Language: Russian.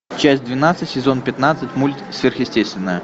часть двенадцать сезон пятнадцать мульт сверхъестественное